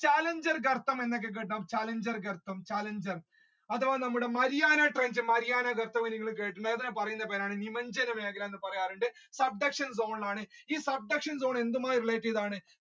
challenger കെർത്തം എന്നൊക്കെ കേൾക്കാം challenger കെർത്തം challenger അതേപോലെ നമ്മുടെ വരികൾ കേട്ടിട്ടുണ്ടാവും അതിനെ പറയുന്ന പേരാണ് നിമഞ്ചന മേഖല എന്ന് പറയാറുണ്ട് zone ആണ് ഈ zone എന്തുമായി relate ചെയ്താണ